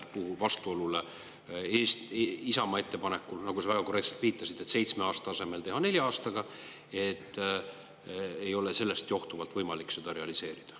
Sa väga korrektselt viitasid Isamaa ettepaneku puhul vastuolule, öeldes, et sellest johtuvalt ei ole võimalik seda seitsme aasta asemel nelja aastaga realiseerida.